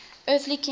earthly king ruling